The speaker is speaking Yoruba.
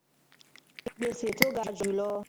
GBESE TO GA JU LO